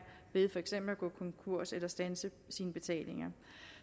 ved at gå konkurs eller standse sine betalinger